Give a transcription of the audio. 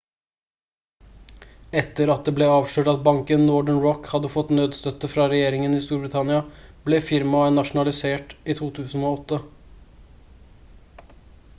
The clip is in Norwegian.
etter at det ble avslørt at banken northern rock hadde fått nødstøtte fra regjeringen i storbritannia ble firmaet nasjonalisert i 2008